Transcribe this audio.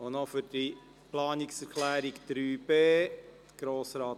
Etter hat seine Planungserklärung zurückgezogen.